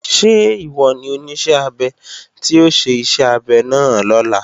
Ṣé ìwọ ni Oníṣẹ́-abẹ tí ó ṣe iṣẹ́ abẹ náà lọ́la?